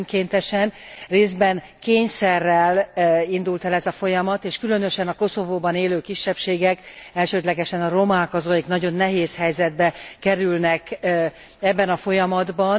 Részben önkéntesen, részben kényszerrel indult el ez a folyamat, és különösen a Koszovóban élő kisebbségek elsődlegesen a romák azok, akik nagyon nehéz helyzetbe kerülnek ebben a folyamatban.